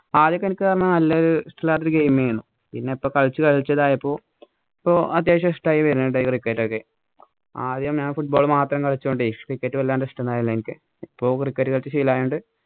ആദ്യമൊക്കെ എനിക്ക് ഇഷ്ടമില്ലാത്ത ഒരു game ആരുന്നു. പിന്നെ ഇപ്പൊ കളിച്ചു കളിച്ചു ഇതായപ്പോ ഇപ്പൊ അത്യാവശ്യം ഇഷ്ടമായി വരുന്നുണ്ട് ഈ cricket ഒക്കെ. ആദ്യം ഞാന്‍ football മാത്രം കളിച്ചോണ്ടെ cricket വല്ലാണ്ട് ഇഷ്ടമായില്ല എനിക്ക്. ഇപ്പൊ cricket കളിച്ചു ശീലായോണ്ട്.